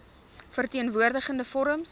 verteen woordigende forums